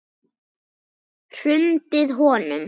Hrundið honum?